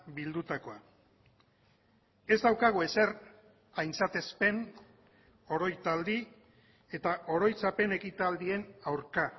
bildutakoa ez daukagu ezer aintzatespen oroitaldi eta oroitzapen ekitaldien aurka